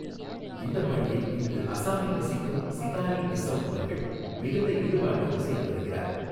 இந்தப் பணியை, இன்று அஸாமில் வசிக்கும் சிகாரீ டிஸ்ஸௌ அவர்கள், மிகுந்த ஈடுபாட்டோடு செய்து வருகிறார்.